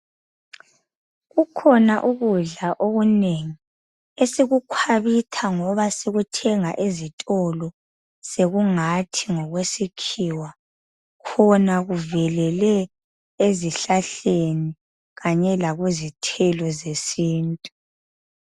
Kukhona ukudla okunengi esikukhwabitha ngoba sikuthenga ezitolo sekungathi ngokwesikhiwa khona kuvelele ezihlahleni kanye lakuzithelo zesintu.